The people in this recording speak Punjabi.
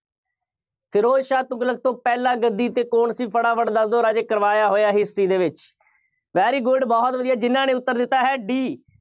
ਫਿਰੋਜ਼ ਸ਼ਾਹ ਤੁਗਲਕ ਤੋਂ ਪਹਿਲਾਂ ਗੱਦੀ 'ਤੇ ਕੌਣ ਸੀ? ਫਟਾਫਟ ਦੱਸ ਦਿਓ ਰਾਜੇ, ਕਰਵਾਇਆ ਹੋਇਆ history ਦੇ ਵਿੱਚ। very good ਬਹੁਤ ਵਧੀਆ, ਜਿੰਨ੍ਹਾ ਨੇ ਉੱਤਰ ਦਿੱਤਾ ਹੈ D